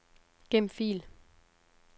Gem fil.